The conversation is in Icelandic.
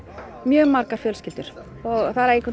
mjög margar fjölskyldur og það